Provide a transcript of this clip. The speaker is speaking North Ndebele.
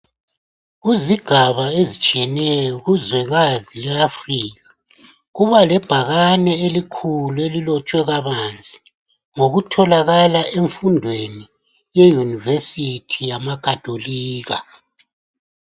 Kuzigaba ezitshiyeneyo kuzwekazi le Africa kuba lebhakane elikhulu elilotshwe kabanzi ngokutholakala emfundweni yeyunivesithi yamakhatholika.